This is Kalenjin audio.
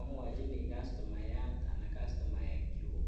Imwochini kastomayat anan kastomaekyuk